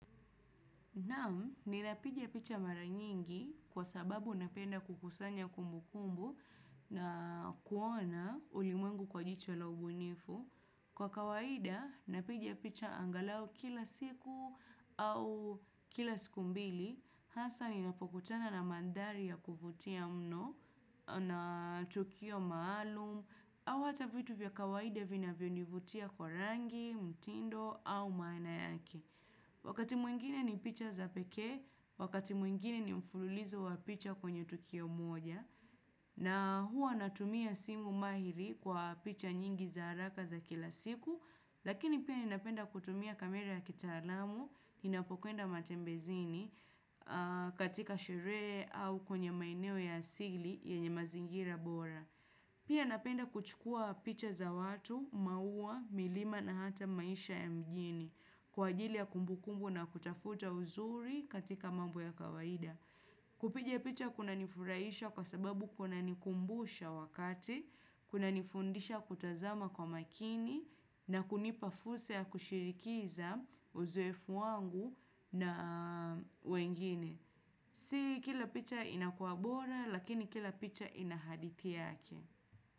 Na'am, ninapiga picha mara nyingi kwa sababu napenda kukusanya kumbukumbu na kuona ulimwengu kwa jicho la ubunifu. Kwa kawaida, napiga picha angalau kila siku au kila siku mbili. Hasa ninapokutana na mandhari ya kuvutia mno na tukio maalum au hata vitu vya kawaida vinavyonivutia kwa rangi, mtindo au maana yake. Wakati mwingine ni picha za pekee, wakati mwingine ni mfululizo wa picha kwenye tukio moja na hua natumia simu mahiri kwa picha nyingi za haraka za kila siku lakini pia ninapenda kutumia kamera ya kitaalamu ninapokwenda matembezini, katika sherehe au kwenye maeneo ya asili yenye mazingira bora. Pia napenda kuchukua picha za watu, maua, milima na hata maisha ya mjini kwa ajili ya kumbukumbu na kutafuta uzuri katika mambo ya kawaida. Kupiga picha kunanifurahisha kwa sababu kunanikumbusha wakati, kunanifundisha kutazama kwa makini na kunipa fursa ya kushirikiza uzoefu wangu na wengine. Si kila picha inakuwa bora lakini kila picha ina haditi yake.